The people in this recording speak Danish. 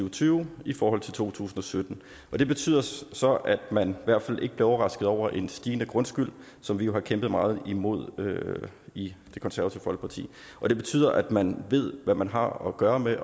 og tyve i forhold til to tusind og sytten det betyder så at man i hvert fald ikke bliver overrasket over en stigende grundskyld som vi jo har kæmpet meget imod i det konservative folkeparti det betyder at man ved hvad man har at gøre med